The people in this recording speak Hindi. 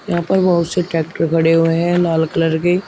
यहां पर बहुत से ट्रैक्टर खड़े हुए हैं लाल कलर के--